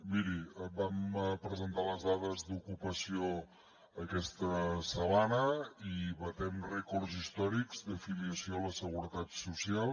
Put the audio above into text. miri vam presentar les dades d’ocupació aquesta setmana i batem rècords històrics d’afiliació a la seguretat social